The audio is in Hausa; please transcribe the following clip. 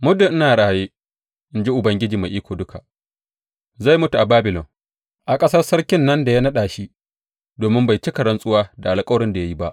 Muddin in raye, in ji Ubangiji Mai Iko Duka, zai mutu a Babilon, a ƙasar sarkin nan da ya naɗa shi, domin bai cika rantsuwa da alkawarin da ya yi ba.